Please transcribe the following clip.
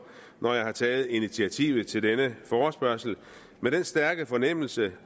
når jeg har taget initiativet til denne forespørgsel med den stærke fornemmelse af